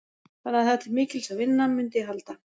Þannig að það er til mikils að vinna, mundi ég halda.